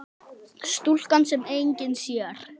Stúlkan sem enginn sér.